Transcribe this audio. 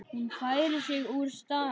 Hún færir sig úr stað.